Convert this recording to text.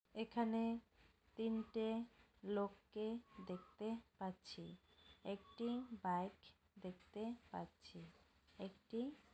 এখানে তিনটে লোককে দেখতে পাচ্ছি একটি বাইক দেখতে পাচ্চি একটি --